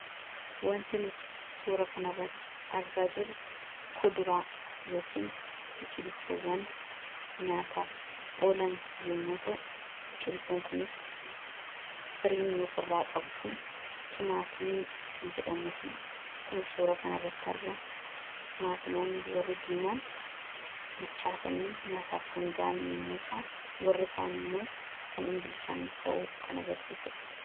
wanti nuti suura kan arratti argaa jiru kuduraa yookan biqiltoowwan nyaataaf oolan yommuta biqiltoon kunis firiin yoof irraa qabu kun timaatimii kan jedhamu fi k0 suura kan irratti arga timaatimoonni warri diimaan bilchaatanii nyaataaf kangaan yommutaan warri kaan immoo kan inbilchaanne ta'uu kan agarsiisudha